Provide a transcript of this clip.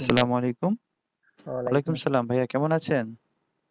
সালামওয়ালাইকুম আলাইকুম ভাইয়া কেমন আছেন